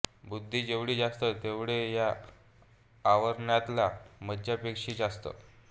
बुद्धी जेवढी जास्त तेवढे या आवरणातल्या मज्जापेशी जास्त